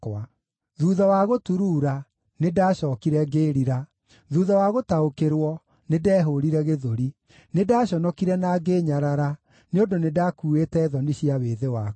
Thuutha wa gũturuura, nĩndacookire ngĩĩrira; thuutha wa gũtaũkĩrwo, nĩndehũũrire gĩthũri. Nĩndaconokire na ngĩĩnyarara, nĩ ũndũ nĩndakuuĩte thoni cia wĩthĩ wakwa.’